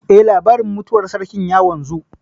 Eh, labarin mutuwar sarkin ya wanzu